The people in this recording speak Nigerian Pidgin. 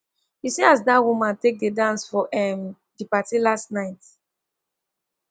you see as dat woman take dance for um di party last night